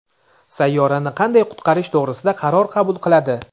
sayyorani qanday qutqarish to‘g‘risida qaror qabul qiladi.